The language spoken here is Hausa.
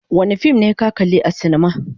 Wane fim ne ka kalli a silima.